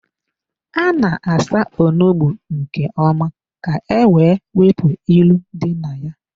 A na-asa onugbu nke ọma ka-ewe wepụ ilu dị na ya.